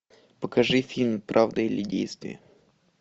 покажи фильм правда или действие